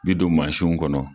bi don mansinw kɔnɔ.